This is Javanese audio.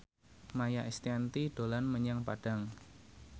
Maia Estianty dolan menyang Padang